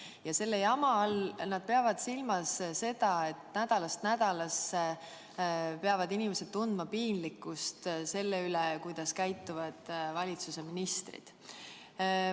Ja selle jama all nad peavad silmas seda, et nädalast nädalasse peavad inimesed tundma piinlikkust selle pärast, kuidas käituvad valitsuse ministrid.